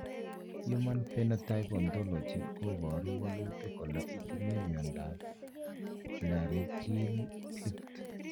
Human Phenotype Ontology koporu wolutik kole itinye Miondap Laryngeal cleft.